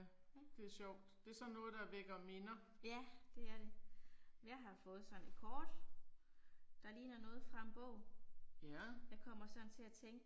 Ja. Ja det er det. Jeg har fået sådan et kort, der ligner noget fra en bog. Jeg kommer sådan til at tænke